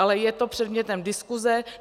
Ale je to předmětem diskuse.